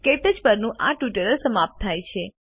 ક્ટચ પરનું આ ટ્યુટોરીયલ સમાપ્ત થાય છે